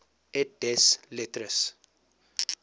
et des lettres